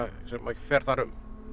sem að fer þar um